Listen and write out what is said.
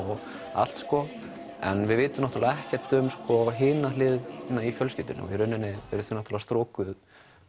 allt sko en við vitum ekkert um hina hliðina í fjölskyldunni í rauninni er hún strokuð